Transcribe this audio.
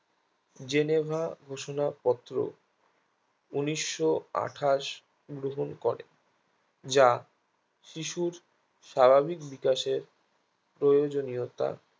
Geneva ঘোষণা পত্র উনিশশো আঠাশ গ্রহণ করে যা শিশুর স্বাভাবিক বিকাশের প্রয়োজনীয়তা